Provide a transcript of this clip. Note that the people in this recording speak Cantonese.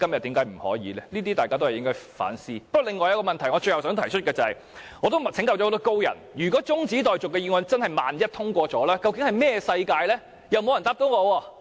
不過，我最後想提出另一個問題，就是我曾請教很多高人，萬一中止待續議案真的通過了，這究竟是甚麼世界？